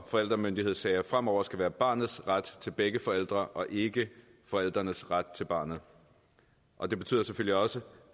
forældremyndighedssager fremover skal være barnets ret til begge forældre og ikke forældrenes ret til barnet og det betyder selvfølgelig også